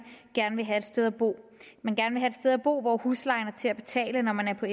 gerne vil have et sted at bo hvor hvor huslejen er til at betale når man er på